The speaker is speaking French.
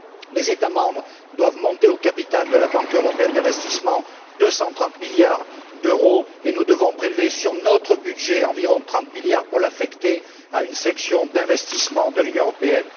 Les États membres doivent monter au capital de la Banque européenne d'investissement pour un montant de 230 milliards d'euros et nous devons prélever sur notre budget environ 30 milliards pour l'affecter à une section d'investissement de l'Union européenne.